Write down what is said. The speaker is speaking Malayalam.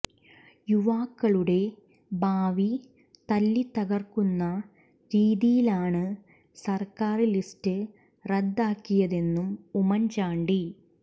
യുവാക്കളുടെ ഭാവി തല്ലിത്തകര്ക്കുന്ന രീതിയിലാണ് സര്ക്കാര് ലിസ്റ്റ് റദ്ദാക്കിയതെന്നും ഉമ്മന് ചാണ്ടി